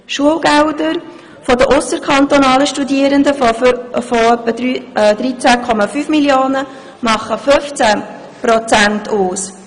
Schulgelder von ausserkantonalen Studierenden in der Höhe von etwa 13,5 Mio. Franken machen 15 Prozent aus.